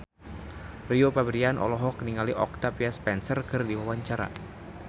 Rio Febrian olohok ningali Octavia Spencer keur diwawancara